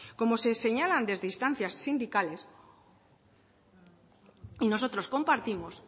como señalan desde instancias sindicales y nosotros compartimos